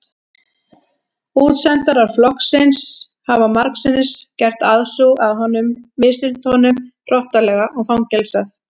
Útsendarar flokksins hafa margsinnis gert aðsúg að honum misþyrmt honum hrottalega og fangelsað.